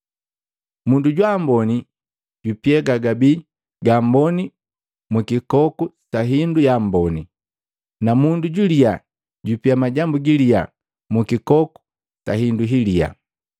Mundu jwa amboni jupia gagabii ga amboni mu kikoku sa hindu yamboni, na mundu juliya jupia majambu giliyaa mu mukikoku sa hindu hiliya.”